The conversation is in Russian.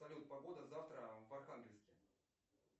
салют погода завтра в архангельске